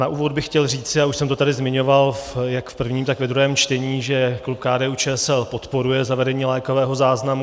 Na úvod bych chtěl říci, a už jsem to tady zmiňoval jak v prvním, tak ve druhém čtení, že klub KDU-ČSL podporuje zavedení lékového záznamu.